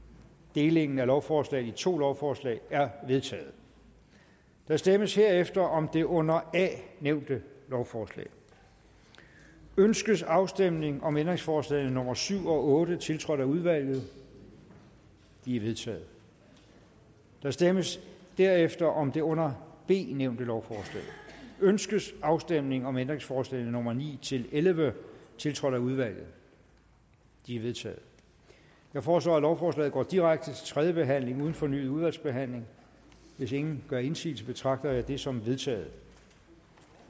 delingen af lovforslaget i to lovforslag er vedtaget der stemmes herefter om det under a nævnte lovforslag ønskes afstemning om ændringsforslagene nummer syv og otte tiltrådt af udvalget de er vedtaget der stemmes derefter om det under b nævnte lovforslag ønskes afstemning om ændringsforslagene nummer ni elleve tiltrådt af udvalget de er vedtaget jeg foreslår at lovforslagene går direkte til tredje behandling uden fornyet udvalgsbehandling hvis ingen gør indsigelse betragter jeg dette som vedtaget